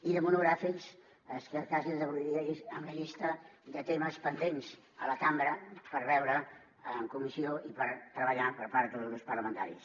i de monogràfics és que quasi els avorriria amb la llista de temes pendents a la cambra per veure en comissió i per treballar per part dels grups parlamentaris